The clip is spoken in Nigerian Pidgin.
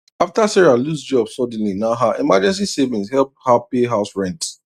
after sarah lose job suddenly na her emergency savings help her pay house rent